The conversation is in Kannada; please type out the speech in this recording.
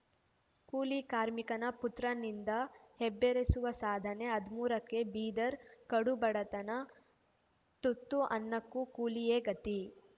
ಕೂಲಿ ಕಾರ್ಮಿಕನ ಪುತ್ರನಿಂದ ಹುಬ್ಬೇರಿಸುವ ಸಾಧನೆ ಹದಿಮೂರಕ್ಕೆ ಬೀದರ್‌ ಕಡು ಬಡತನ ತುತ್ತು ಅನ್ನಕ್ಕೂ ಕೂಲಿಯೇ ಗತಿ